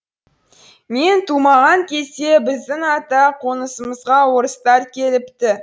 мен тумаған кезде біздің ата қонысымызға орыстар келіпті